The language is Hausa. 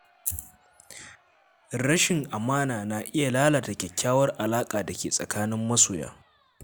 Rashin amana na iya lalata kyakkyawar alaƙar da ke tsakanin masoya.